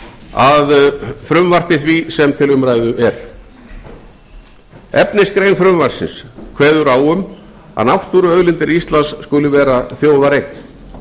að frumvarpi því sem til umræðu er efnisgrein frumvarpsins kveður á um að náttúruauðlindir íslands skuli vera þjóðareign